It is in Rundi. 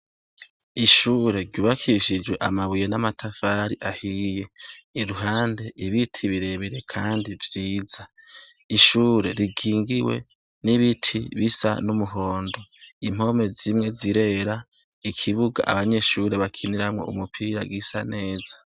Ishure ryubakishijwe amabuye namatafari ahiye iruhande ibiti birebire kandi vyiza ishure rikingiwe nibiti bisa numuhondo umpome zimwe zirera ikibuga abanyeshure bakiniramwo umupira gisa neza